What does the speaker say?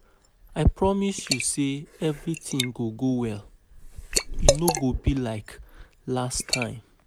I promise you say everything go go well, e no go be like last um time